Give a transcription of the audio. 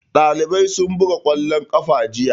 Ɗalibai sun buga ƙwallon ƙafa jiya.